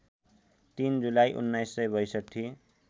३ जुलाई १९६२